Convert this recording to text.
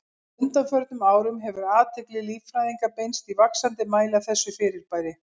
Á undanförnum árum hefur athygli líffræðinga beinst í vaxandi mæli að þessu fyrirbæri.